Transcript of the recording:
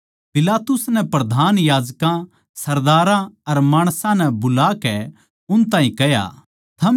पिलातुस नै प्रधान याजकां सरदारां अर माणसां नै बुलाके उन ताहीं कह्या